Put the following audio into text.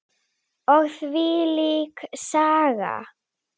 Og þvílík Saga.